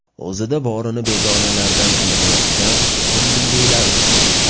O‘zida borini begonalardan ayamayotgan ko‘ngillilar uchun.